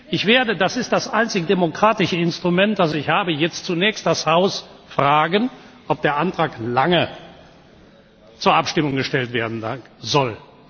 Ich werde das ist das einzige demokratische Instrument, das ich habe jetzt zunächst das Haus fragen, ob der Antrag Lange zur Abstimmung gestellt werden soll.